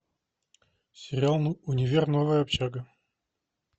сериал универ новая общага